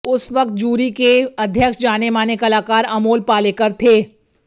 उस वक्त जूरी के अध्यक्ष जाने माने कलाकार अमोल पालेकर थे